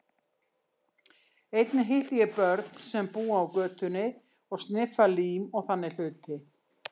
Einnig hitti ég börn sem búa á götunni og sniffa lím og þannig hluti.